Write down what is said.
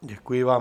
Děkuji vám.